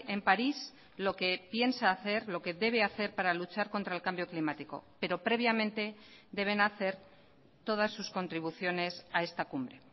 en parís lo que piensa hacer lo que debe hacer para luchar contra el cambio climático pero previamente deben hacer todas sus contribuciones a esta cumbre